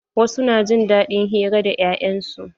Wasu na jin daɗin hira da 'ya'yan su.